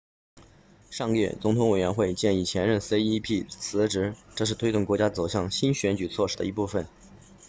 上个月总统委员会建议前任 cep 辞职这是推动国家走向新选举措施的一部分